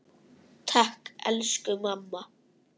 Takk, elsku mamma.